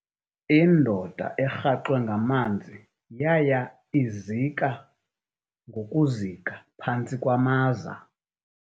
Indoda erhaxwe ngamanzi yaya izika ngokuzika phantsi kwamaza.